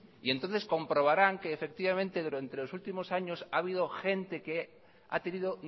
entonces comprobarán que efectivamente durante los últimos años ha habido gente que ha tenido